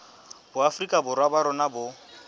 boafrika borwa ba rona bo